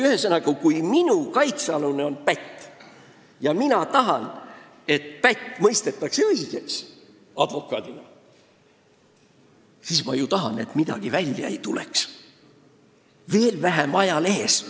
Ühesõnaga, kui minu kaitsealune on pätt ja mina advokaadina tahan, et ta õigeks mõistetakse, siis ma ju soovin, et midagi välja ei tuleks, veel vähem ajalehes.